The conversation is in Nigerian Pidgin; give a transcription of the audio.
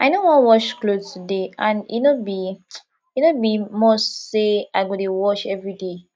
i no wan wash cloth today and e no be e no be must say i go dey wash everyday